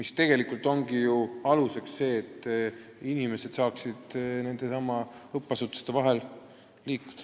Sellisel alusel ju inimesed saavadki õppeasutuste vahel liikuda.